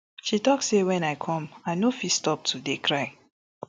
she tok say wen i come i no fit stop to dey cry